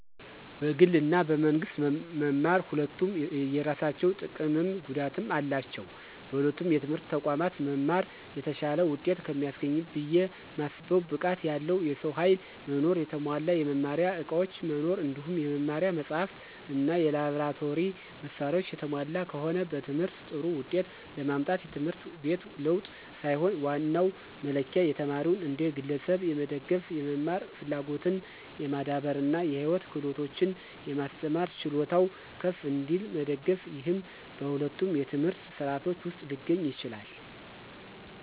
በግል እና በመንግስት መማር ሁለቱም የየራሳቸው ጥቀምም ጉዳትም አላቸው። በሁለቱም የትምህርት ተቋማት መማር የተሻለ ውጤት ከሚያስገኝበት ብየ ማስበው ብቃት ያለው የሰው ኃይል መኖር፣ የተሟላ የመማሪያ ዕቃዎች መኖር እንዲሁም የመማሪያ መጻሕፍት እና የላብራቶሪ መሳሪያዎች የተሟሉ ከሆነ። በትምህርት ጥሩ ውጤት ለማምጣት የትምህርት ቤት ለውጥ ሳይሆን ዋናው መለኪያ ተማሪውን እንደ ግለሰብ የመደገፍ፣ የመማር ፍላጎትን የማዳበር እና የህይወት ክህሎቶችን የማስተማር ችሎታው ከፍ እንዲል መደገፍ፤ ይህም በሁለቱም የትምህርት ሥርዓቶች ውስጥ ሊገኝ ይችላል።